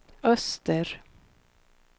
öster